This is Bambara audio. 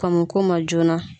Kɔn mo k'o ma joona.